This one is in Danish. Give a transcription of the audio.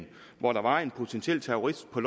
hvor der var en potentiel terrorist på